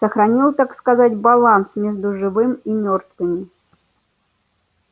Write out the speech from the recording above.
сохранил так сказать баланс между живым и мёртвыми